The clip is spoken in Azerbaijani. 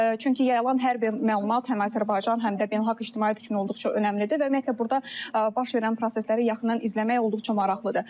Çünki yayılan hər bir məlumat həm Azərbaycan, həm də beynəlxalq ictimaiyyət üçün olduqca önəmlidir və ümumiyyətlə burda baş verən prosesləri yaxından izləmək olduqca maraqlıdır.